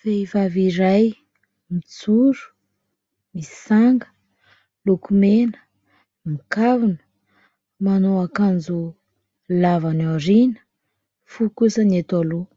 Vehivavy iray mijoro, misy sanga, lokomena, mikavina, manao akanjo lava any aoriana, fohy kosa ny eto aloha